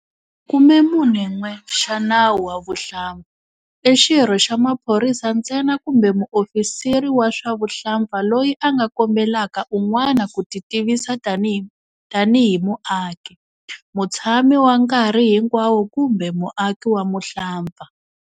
41 xa Nawu wa Vuhlampfa, i xirho xa maphorisa ntsena kumbe muofisiri wa swa vuhlampfa loyi a nga kombelaka un'wana ku titivisa tanihi tanihi muaki, mutshami wa nkarhi hinkwawo kumbe muaki wa muhlampfa.